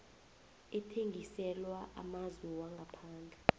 ethengiselwa amazwe wangaphandle